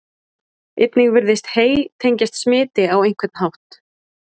einnig virðist hey tengjast smiti á einhvern hátt